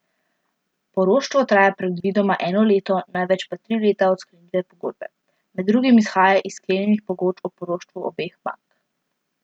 Poroštvo traja predvidoma eno leto, največ pa tri leta od sklenitve pogodbe, med drugim izhaja iz sklenjenih pogodb o poroštvu obeh bank.